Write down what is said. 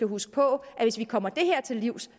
husker på at hvis vi kommer det her til livs